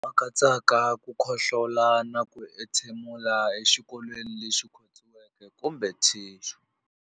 Lama katsaka ku khohlola na ku entshemulela exikokolweni lexi khotsiweke kumbe thixu.